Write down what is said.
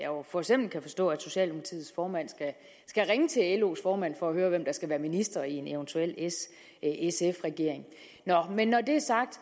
jo for eksempel kan forstå at socialdemokratiets formand skal ringe til los formand for at høre hvem der skal være minister i en eventuel s sf regering nå men når det er sagt